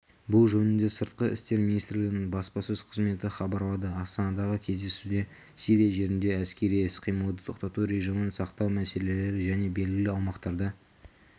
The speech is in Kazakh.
бұл жөнінде сыртқы істер министрлігінің баспасөз қызметі хабарлады астанадағы кездесуде сирия жерінде әскери іс-қимылды тоқтату режимін сақтау мәселелері және белгілі аумақтарда